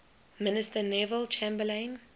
minister neville chamberlain